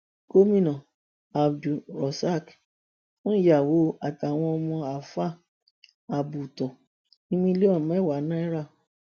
gomina abdulrosaq fún ìyàwó àtàwọn ọmọ àáfà àbótọ ní mílíọnù mẹwàá náírà